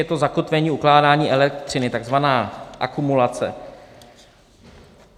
Je to zakotvení ukládání elektřiny, takzvaná akumulace.